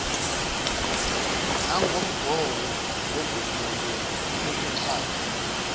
nangomgomo wokuvunywa kokuxhaswa